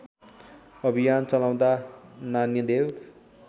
अभियान चलाउँदा नान्यदेव